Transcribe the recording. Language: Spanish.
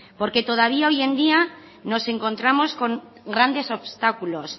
porque todavía hoy en día nos encontramos con grandes obstáculos